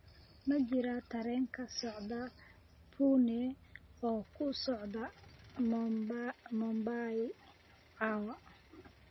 ma jiraa tareen ka socda pune oo ku socda mumbai caawa